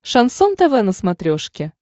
шансон тв на смотрешке